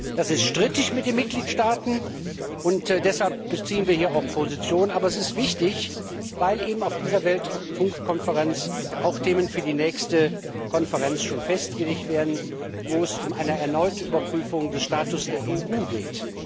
Das ist unter den Mitgliedstaaten strittig, und deshalb beziehen wir hier auch Position, aber es ist wichtig, weil auf dieser Weltfunkkonferenz auch schon Themen für die nächste Konferenz festgelegt werden, wo es um eine erneute Überprüfung des Status der EU geht.